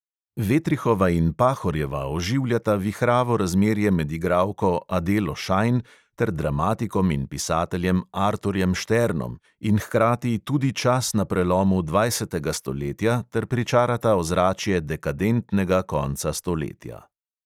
Vetrihova in pahorjeva oživljata vihravo razmerje med igralko adelo šajn ter dramatikom in pisateljem arturjem šternom in hkrati tudi čas na prelomu dvajsetega stoletja ter pričarata ozračje dekadentnega konca stoletja.